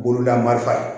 Bololamarifa ye